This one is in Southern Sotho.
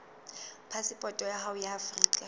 phasepoto ya hao ya afrika